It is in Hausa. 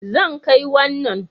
Zan kai wannan